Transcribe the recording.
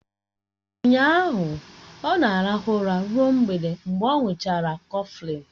Ụnyaahụ ọ na-arahụ ụra ruo mgbede mgbe ọ̀ ṅuchara kọflịn